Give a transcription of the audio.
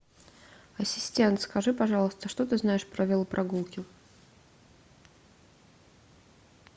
ассистент скажи пожалуйста что ты знаешь про велопрогулки